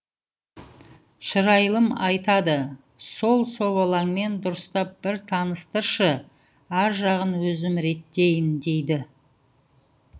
шырайлым айтады сол собалаңмен дұрыстап бір таныстыршы ар жағын өзім реттейін дейді